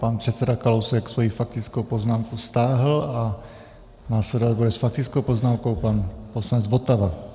Pan předseda Kalousek svoji faktickou poznámku stáhl a následovat bude s faktickou poznámkou pan poslanec Votava.